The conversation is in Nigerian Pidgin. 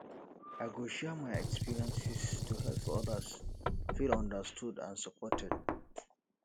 i go share my experiences to help others feel understood and supported